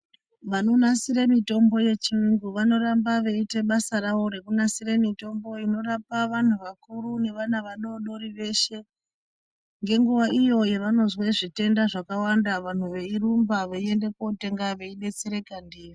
Vanonasire mitombo yechiyungu vanoramba veiita basa ravo rekunasira mitombo inorapa vantu vakuru nevana vadori-dori veshe. Ngenguva iyo yavanozwe zvitenda zvakawanda vantu veirumba veienda kotenga veibetsereka ndiyo.